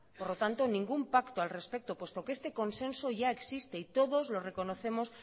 por lo tanto ningún pacto al respecto puesto que este consenso ya existe y todos los reconocemos